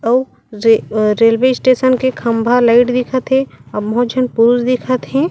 अउ रे अ रेलवे स्टेशन के खम्भा लाइट दिखत हे अउ बहुत झन पुरुष दिखत हे।